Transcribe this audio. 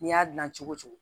N'i y'a dilan cogo cogo